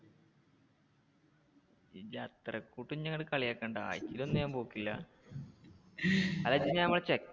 ഇജ്ജ് അത്രയ്ക്ക് എന്നെ അങ്ങനെ കളിയാക്കണ്ട. ആഴ്ചേല് ഒന്നും ഞാൻ പോക്കില്ല അത് അജ്ജ് ഞാൻ